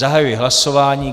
Zahajuji hlasování.